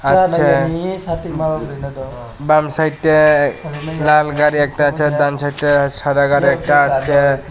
আছে বাম সাইড্ডে লাল গাড়ি একটা আছে ডান সাইড্ডে সাদা গাড়ি একটা আছে।